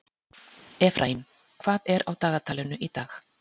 Efraím, hvað er á dagatalinu í dag?